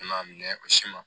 N'a minɛ ka si ma